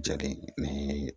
Jeli ni